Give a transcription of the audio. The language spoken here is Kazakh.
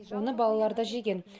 оны балалары да жеген